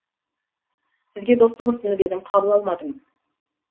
сізге достық ұсынып едім қабыл алмадыңыз